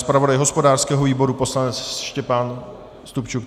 Zpravodaj hospodářského výboru poslanec Štěpán Stupčuk?